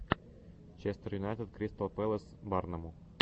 честер юнайтед кристал паласс барному